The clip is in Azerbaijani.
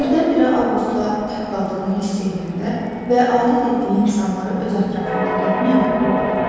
Birdən-birə Avqustla tək qaldığını hiss eləyəndə və adət etdiyi insanları öz ətrafında görməyəndə qorxdu.